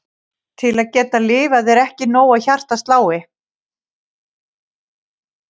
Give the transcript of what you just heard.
Til að geta lifað er ekki nóg að hjartað slái.